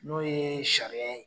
N'o ye sariya ye.